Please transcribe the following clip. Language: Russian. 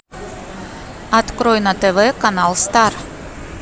открой на тв канал стар